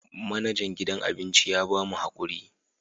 Manajan gidan abinci ya ba mu hakuri